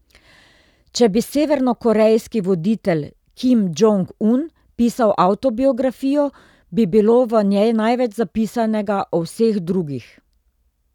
Če bi severnokorejski voditelj Kim Džong Un pisal avtobiografijo, bi bilo v njej največ zapisanega o vseh drugih.